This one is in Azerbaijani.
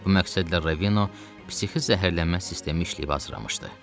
Bu məqsədlə Ravino psixi zəhərlənmə sistemi işləyib hazırlamışdı.